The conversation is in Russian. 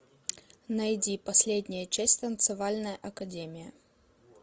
найди последняя часть танцевальная академия